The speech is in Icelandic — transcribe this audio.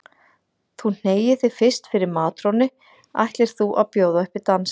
Þú hneigir þig fyrst fyrir matrónunni ætlir þú að bjóða upp í dans.